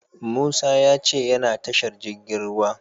Musa ya ce yana tashar jirgin ruwa.